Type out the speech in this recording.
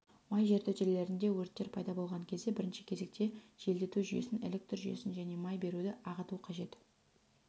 май жертөлелерінде өрттер пайда болған кезде бірінші кезекте желдету жүйесін электр жүйесін және май беруді ағыту қажет